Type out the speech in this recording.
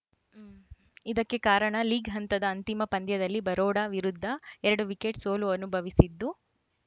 ಇದಕ್ಕೆ ಕಾರಣ ಲೀಗ್‌ ಹಂತದ ಅಂತಿಮ ಪಂದ್ಯದಲ್ಲಿ ಬರೋಡಾ ವಿರುದ್ಧ ಎರಡು ವಿಕೆಟ್‌ ಸೋಲು ಅನುಭವಿಸಿದ್ದು